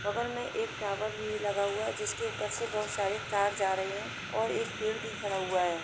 बगल में एक टावर भी लगा हुआ है जिसके ऊपर से बहुत सारे तार जा रहे हैं और एक पेड़ भी खड़ा हुआ है ।